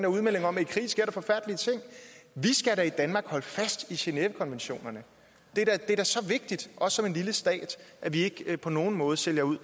udmelding om at i krig sker der forfærdelige ting vi skal da i danmark holde fast i genèvekonventionerne det er da så vigtigt også som en lille stat at vi ikke på nogen måde sælger ud